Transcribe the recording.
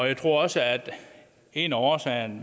jeg tror også at en af årsagerne